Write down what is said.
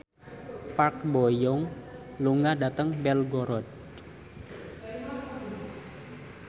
Park Bo Yung lunga dhateng Belgorod